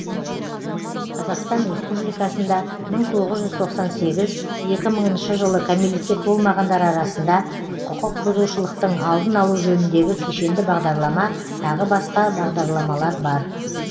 қазақстан республикасында мың тоғыз жүз тоқсан сегіз екі мыңыншы жылы кәмелетке толмағандар арасында құқық бұзушылықтың алдын алу жөніндегі кешенді бағдарлама тағы басқа бағдарламалар бар